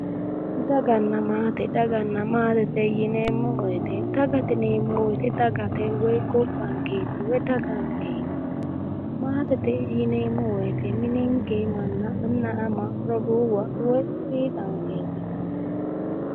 Daganna maate. Daganna maatete yineemmo woyite dagate yineemmo woyite dagate woyi gobbankeeti woyi dagankeeti. Maatete yineemmo woyite mininke manna anna, ama, roduuwa woyi fiixankeeti.